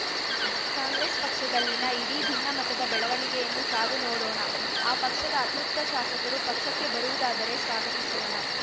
ಕಾಂಗ್ರೆಸ್‌ ಪಕ್ಷದಲ್ಲಿನ ಇಡೀ ಭಿನ್ನಮತದ ಬೆಳವಣಿಗೆಯನ್ನು ಕಾದು ನೋಡೋಣ ಆ ಪಕ್ಷದ ಅತೃಪ್ತ ಶಾಸಕರು ಪಕ್ಷಕ್ಕೆ ಬರುವುದಾದರೆ ಸ್ವಾಗತಿಸೋಣ